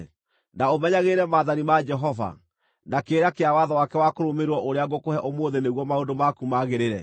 na ũmenyagĩrĩre maathani ma Jehova, na kĩrĩra kĩa watho wake wa kũrũmĩrĩrwo ũrĩa ngũkũhe ũmũthĩ nĩguo maũndũ maku magĩrĩre?